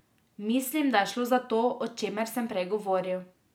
Mislim, da je šlo za to, o čemer sem prej govoril.